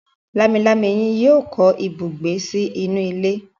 Lámilámi yen yíò kọ ibùgbé sí inú ilé.